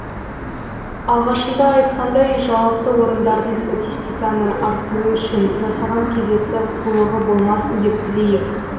алғашында айтқандай жауапты орындардың статистиканы арттыру үшін жасаған кезекті қулығы болмасын деп тілейік